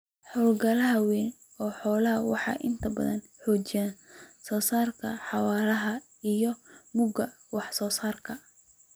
Hawlgallada waaweyn ee xoolaha waxay inta badan xoogga saaraan xawaaraha iyo mugga wax-soo-saarka.